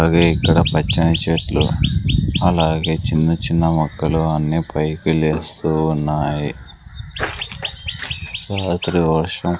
అలాగే ఇక్కడ పచ్చని చెట్లు అలాగే చిన్న చిన్న మొక్కలు అన్ని పైకి లేస్తూ ఉన్నాయి రాత్రి వర్షం--